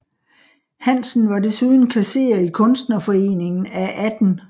Hansen var desuden kasserer i Kunstnerforeningen af 18